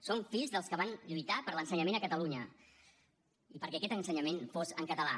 som fills dels que van lluitar per l’ensenyament a catalunya i perquè aquest ensenyament fos en català